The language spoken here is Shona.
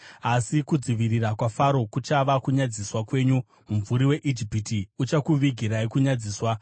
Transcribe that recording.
Asi kudzivirira kwaFaro kuchava kunyadziswa kwenyu, mumvuri weIjipiti uchakuvigirai kunyadziswa,